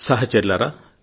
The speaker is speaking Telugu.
సహచరులారా